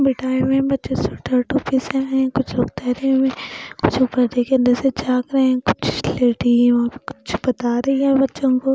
बिठाए हुए हैं बच्चे हुए हैं कुछ लोग ठहरे हुए हैं कुछ ऊपर देख के अंदर से झाक रहे हैं कुछ लेडी वहां कुछ बता रही है बच्चों को--